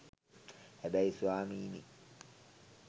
හැබැයි ස්වාමීනී